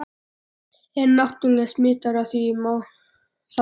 er náttúrlega smitaður af því ef ég má þarna